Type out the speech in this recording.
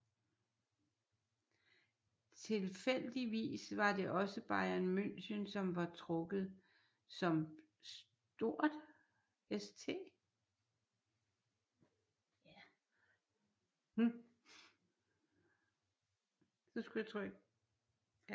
Tilfældigvis var det også Bayern München som var trukket som St